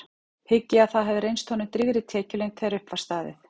Hygg ég að það hafi reynst honum drýgri tekjulind þegar upp var staðið.